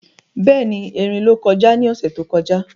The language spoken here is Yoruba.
Béèni, erin ló kọjá ní ọ̀sẹ̀ tó kọjá